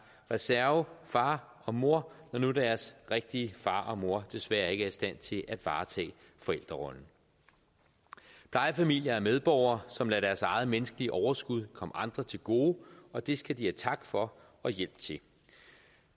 reservefar og mor når nu deres rigtige far og mor desværre ikke er i stand til at varetage forældrerollen plejefamilier er medborgere som lader deres eget menneskelige overskud komme andre til gode og det skal de have tak for og hjælp til